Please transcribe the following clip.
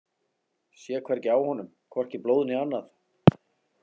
Sá hvergi á honum, hvorki blóð né annað.